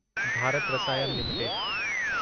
Bharat Rasayan limited